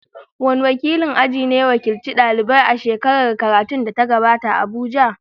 Wane wakilin aji ne ya wakilci daliban a shekarar karatu da ta gabata a Abuja?